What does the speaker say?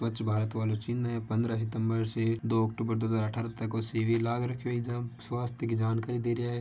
स्वच्छ भारत आरो चिन्ह है पहन्द्र सितम्बर से दो अक्टूबर दो हज़ार तक को शिविर लाग रो है स्वास्थय की जानकारी दे रहा है।